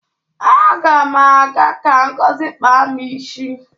Aga ma aga ka Ngozi kpaa m isi.